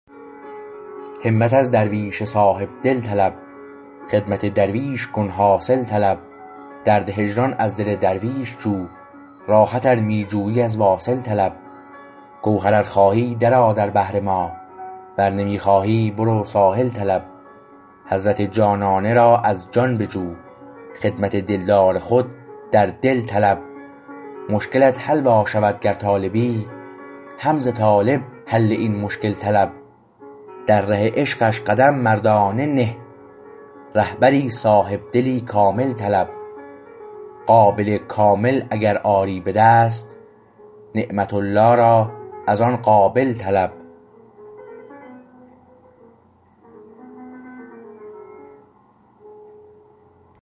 همت از درویش صاحب دل طلب خدمت درویش کن حاصل طلب درد هجران از دل درویش جو راحت ار می جویی از واصل طلب گوهر ار خواهی درآ در بحر ما ور نمی خواهی برو ساحل طلب حضرت جانانه را از جان بجو خدمت دلدار خود در دل طلب مشکلت حل وا شود گر طالبی هم ز طالب حل این مشکل طلب در ره عشقش قدم مردانه نه رهبری صاحبدلی کامل طلب قابل کامل اگر آری به دست نعمت الله را از آن قابل طلب